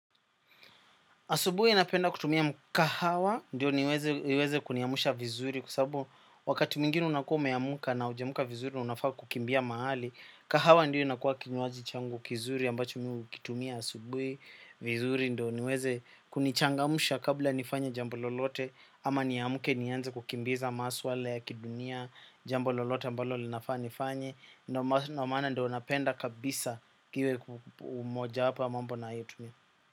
Asubuhi napenda kutumia kahawa ndio niweze kuniamusha vizuri kwa sababu wakati mwingine unakuwa umeamka na hujaamka vizuri na unafaa kukimbia mahali. Kahawa ndio inakuwa kinywaji changu kizuri ambacho mi hukitumia asubuhi vizuri ndio niweze kunichangamsha kabla nifanye jambo lolote ama niamke nianze kukimbiza maswala ya kidunia jambo lolote ambalo linafaa nifanye. Ndio maana ndio napenda kabisa iwe mojawapo ya mambo ninayotumia.